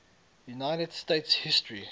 united states history